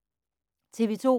TV 2